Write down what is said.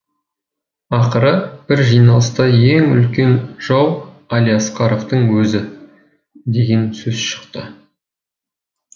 ақыры бір жиналыста ең үлкен жау әлиасқаровтың өзі деген сөз шықты